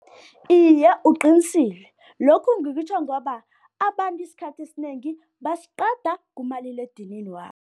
Iye uqinisile, lokhu ngikutjho ngoba abantu isikhathi esinengi basiqeda kumaliledinini wabo.